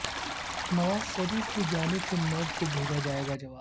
نواز شریف کی جانب سے نیب کو بھیجا گیا جواب